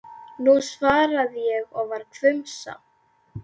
Nú, svaraði ég og var hvumsa.